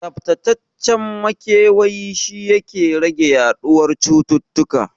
Tsaftacaccen makewayi shi yake rage yaɗuwar cuta